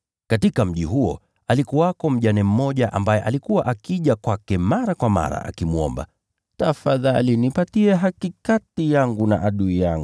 Katika mji huo alikuwako mjane mmoja ambaye alikuwa akija kwake mara kwa mara akimwomba, ‘Tafadhali nipatie haki kati yangu na adui yangu.’